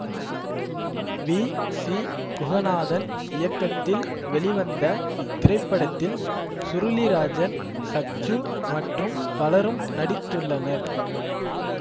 we C Guhanathan இயக்கத்தில் வெளிவந்த இத்திரைப்படத்தில் சுருளி ராஜன் சச்சு மற்றும் பலரும் நடித்துள்ளனர்